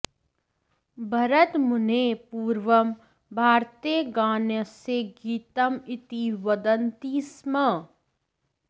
भरतमुनेः पूर्वं भारते गानस्य गीतम् इति वदन्ति स्म